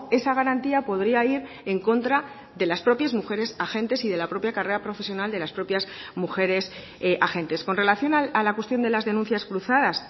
esa garantía podría ir en contra de las propias mujeres agentes y de la propia carrera profesional de las propias mujeres agentes con relación a la cuestión de las denuncias cruzadas